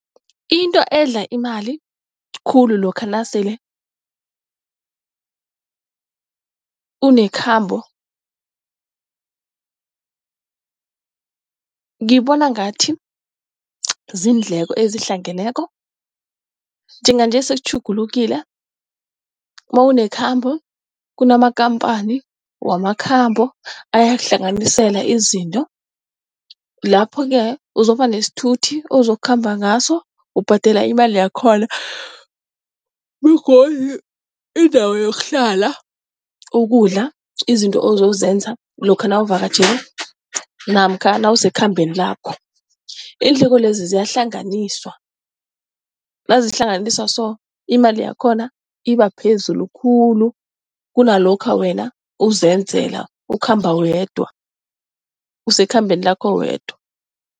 Into edla imali khulu lokha nasele unekhambo ngibona ngathi ziindleko ezihlangeneko. Njenganje sekutjhugulukile nawunekhambo kunamakampani wamakhambo ayakuhlanganisela izinto. Lapho-ke uzokuba nesithuthi ozokukhamba ngaso ubhadela imali yakhona begodu indawo yokuhlala, ukudla izinto ozozenza lokha nawuvakatjhele namkha nawusekhambeni lakho iindleko lezi ziyahlanganiswa nazihlanganisa so imali yakhona iba phezulu khulu kunalokha wena uzenzela, ukhamba wedwa, usekhambeni lakho wedwa.